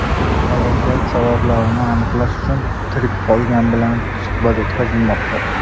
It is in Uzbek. Halokat sabablarini aniqlash uchun tirik qolganlar bilan suhbat o‘tkazilmoqda.